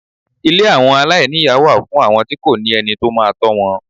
Ilé àwọn aláìníyà wà fún àwọn tí kò ní ẹni tó máa tọ́ wọn.